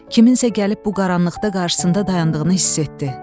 Kimsə gəlib bu qaranlıqda qarşısında dayandığını hiss etdi.